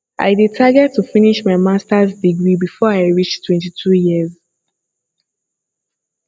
i dey target to finish my masters degree before i reach 22 years